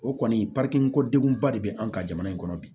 O kɔni ko degun ba de bɛ an ka jamana in kɔnɔ bi